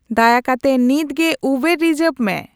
ᱫᱟᱭᱟ ᱠᱟᱛᱮ ᱱᱤᱛᱜᱮ ᱩᱵᱟᱨ ᱨᱤᱡᱟᱵᱷ ᱢᱮ